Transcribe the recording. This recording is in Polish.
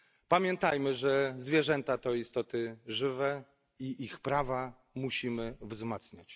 Pamiętajmy, że zwierzęta to istoty żywe i ich prawa musimy wzmacniać.